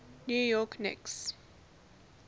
new york knicks